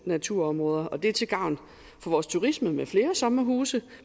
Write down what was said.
naturområder og det er til gavn for vores turisme med flere sommerhuse